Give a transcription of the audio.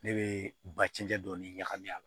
Ne bɛ ba cɛncɛn dɔɔni ɲagami a la